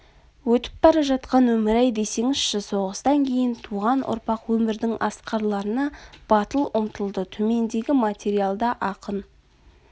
өтіп бара жатқан өмір-ай десеңізші соғыстан кейін туған ұрпақ өмірдің асқарларына батыл ұмтылды төмендегі материалда ақын